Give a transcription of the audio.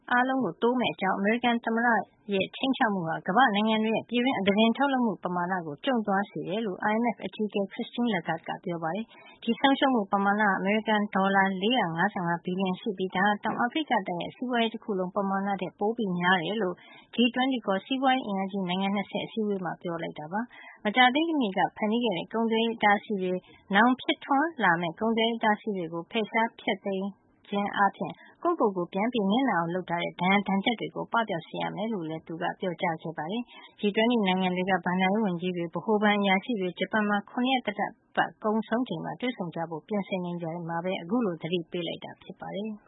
အားလုံး တိုးမယ့်အကြောင်း အမေရိကန်သမ္မတ ဒေါ်နယ်ထရမ့်ရဲ့ ခြိမ်းခြောက်မှုဟာ ကမ္ဘာ့နိုင်ငံတွေရဲ့ ပြည်တွင်း အသားတင် ထုတ်လုပ်မှု ပမာဏ ကျုံ့ သွားစေကြောင်း IMF အကြီးအကဲ Christine Lagarde ကပြောပါတယ်။ ဒီဆုံးရှုံးမှု ပမာဏဟာ အမေရိကန်ဒေါ်လာ ၄၅၅ ဘီလျံရှိပြီး ဒါဟာ တောင်အာဖရိကတိုက်ရဲ့ စီးပွားရေး တခုလုံး ပမာဏထက် ပိုများကြောင်း G-20 ခေါ် စီးပွားရေးအင်အားကြီး နိုင်ငံ ၂၀ ရဲ့ အစည်းအဝေးမှာ ပြောကြားလိုက်တာ ဖြစ်ပါတယ်။ မကြာသေးမီက ဖန်တီးခဲ့တဲ့ ကုန်သွယ်ရေး အတားအဆီးတွေ၊ နောင်ဖြစ်ထွန်းလာမယ့် ကုန်သွယ်ရေး အတားအဆီးတွေကို ဖယ်ရှား ဖျက်သိမ်းခြင်းအားဖြင့် ကိုယ့်ကိုကိုယ် ပြန်နစ်နာအောင်လုပ်ထားတဲ့ ဒဏ်ရာဒဏ်ချက်တွေကို ပပျောက်စေရမယ်လို့လည်း သူက ဆိုပါတယ်။ G-20 နိုင်ငံတွေရဲ့ ဘဏ္ဍာရေးဝန်ကြီးတွေ၊ ဗဟိုဘဏ်အရာရှိတွေ၊ ဂျပန်နိုင်ငံမှာ ခုရက်သတ္တပတ် ကုန်ဆုံးချိန်မှာ တွေ့ဆုံကြဖို့ ပြင်ဆင်နေချိန်မှာပဲ အခုလို သတိပေးလိုက်တာ ဖြစ်ပါတယ်။